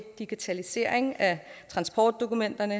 digitalisering af transportdokumenterne